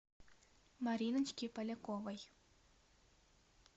мариночке поляковой